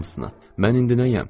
Mən indi nəyəm?